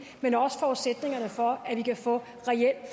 men også forudsætningerne for at vi kan få reel